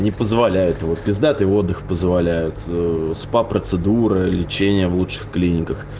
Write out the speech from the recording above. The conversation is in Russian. не позволяет вот пиздатый отдых позволяют спа-процедуры лечение в лучших клиниках